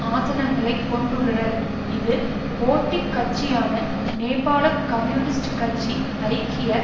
ஆசனங்களைக் கொண்டுள்ளனர் இது போட்டி கட்சியான நேபாள கம்யூனிஸ்ட் கட்சி ஐக்கிய